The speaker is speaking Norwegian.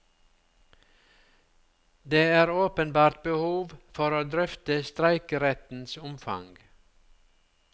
Det er åpenbart behov for å drøfte streikerettens omfang.